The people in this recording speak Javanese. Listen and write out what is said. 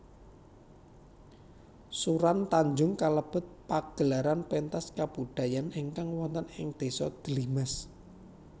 Suran Tanjung kalebet pagelaran pentas kabudayan ingkang woten ing désa Dlimas